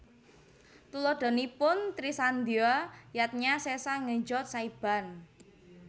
Tuladhanipun Trisandya Yadnya Sesa Ngejot Saiban